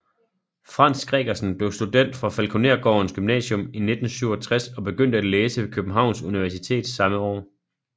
Frans Gregersen blev student fra Falkonergårdens Gymnasium 1967 og begyndte at læse ved Københavns Universitet samme år